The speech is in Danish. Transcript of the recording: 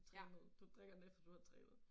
Trænet du drikker den efter du har trænet